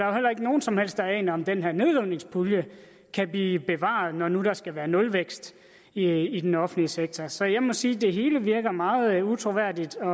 jo heller ikke nogen som helst der aner om den her nedrivningspulje kan blive bevaret når nu der skal være nulvækst i den offentlige sektor så jeg må sige at det hele virker meget utroværdigt og